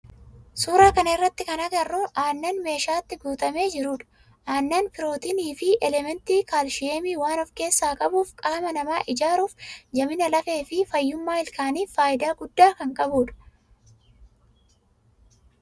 Suuraa kana irratti kana agarru aannan meeshatti guutamee jirudha. Aannan pirootinii fi elementii kaalshiyeemii waan of keessaa qabuuf qaama nama ijaaruuf, jabina lafee fi fayyummaa ilkaanif faayidaa guddaa kan qabudha.